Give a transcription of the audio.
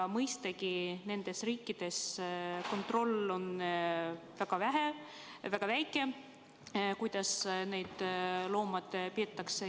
Mõistagi on nendes riikides väga väike kontroll, kuidas neid loomi peetakse.